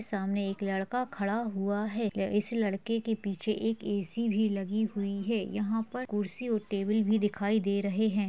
सामने एक लड़का खड़ा हुआ है इस लड़के के पीछे एक एसी भी लगी हुई है। यहाँ पर खुर्सी और टेबल भी दिखाई दे रहे हैं।